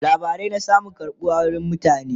labarai na samun karbuwa wurin mutane